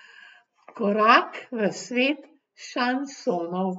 Korak v svet šansonov.